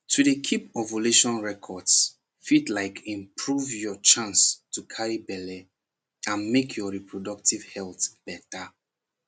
to dey keep ovulation records fit like improve your chance to carry belle and make your reproductive health better